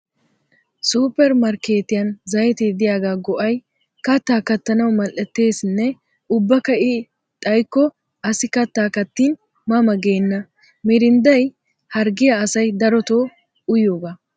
Suppermarkkeetiyan zayite diyagaa go'ay kattaa kattanawu mal'ettesinne ubbakka I xayikko asi katta kattin ma ma geenna. Mirindday harggiya asay daroto oyiyogaa.